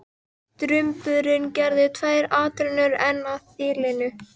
Drumburinn gerði tvær atrennur enn að þilinu.